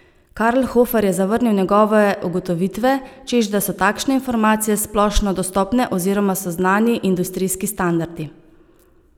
Karlhofer je zavrnil njegove ugotovitve, češ da so takšne informacije splošno dostopne oziroma so znani industrijski standardi.